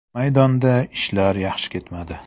Maydonda ishlar yaxshi ketmadi.